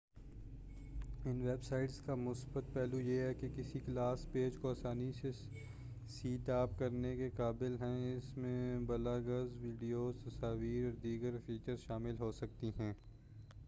ان web sites کا مثبت پہلو یہ ہے کہ کسی کلاس پیج کو آسانی سے سیٹ اپ کرنے کے قابل ہے اس میں بلاگز ویڈیوز تصاویر اور دیگر فیچرز شامل ہو سکتی ہیں